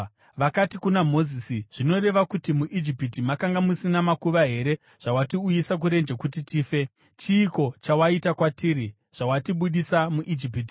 Vakati kuna Mozisi, “Zvinoreva kuti muIjipiti makanga musina makuva here zvawatiuyisa kurenje kuti tife? Chiiko chawaita kwatiri zvawatibudisa muIjipiti?